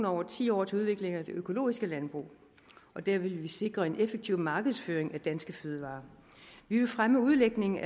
over ti år til udviklingen af det økologiske landbrug og der vil vi sikre en effektiv markedsføring af danske fødevarer vi vil fremme udlægning